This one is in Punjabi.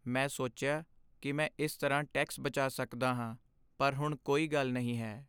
ਮੈਂ ਸੋਚਿਆ ਕੀ ਮੈਂ ਇਸ ਤਰ੍ਹਾਂ ਟੈਕਸ ਬਚਾ ਸਕਦਾ ਹਾਂ, ਪਰ ਹੁਣ ਕੋਈ ਗੱਲ ਨਹੀਂ ਹੈ